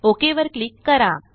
okay वर click करा